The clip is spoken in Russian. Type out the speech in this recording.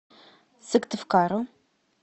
сыктывкару